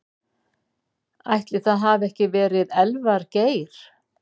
Ætli það hafi ekki verið Elvar Geir.